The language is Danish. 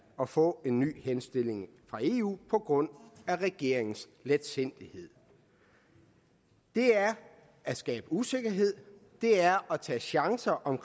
at få en ny henstilling fra eu på grund af regeringens letsindighed det er at skabe usikkerhed det er at tage chancer om